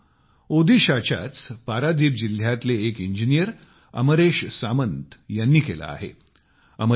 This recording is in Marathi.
असेच काम ओदिशाच्याच पारादीप जिल्ह्यातले एक इंजीनियर अमरेश सामंत यांनी केलं आहे